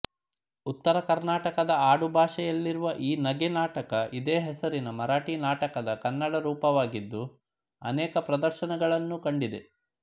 ಉತ್ತರಕರ್ನಾಟಕದ ಆಡುಭಾಷೆಯಲ್ಲಿರುವ ಈ ನಗೆ ನಾಟಕ ಇದೇ ಹೆಸರಿನ ಮರಾಠೀ ನಾಟಕದ ಕನ್ನಡರೂಪವಾಗಿದ್ದು ಅನೇಕ ಪ್ರದರ್ಶನಗಳನ್ನು ಕಂಡಿದೆ